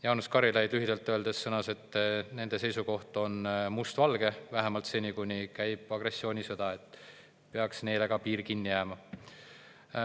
Jaanus Karilaid sõnas, et nende seisukoht on mustvalge – vähemalt seni, kuni käib agressioonisõda –, et ka neile peaks piir kinni jääma.